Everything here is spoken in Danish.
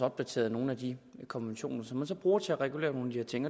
opdateret nogle af de konventioner som man så bruger til at regulere nogle de her ting